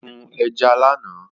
Ó sún ẹja lánàá